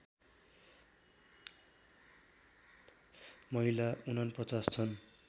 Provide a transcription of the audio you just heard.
महिला ४९ छन्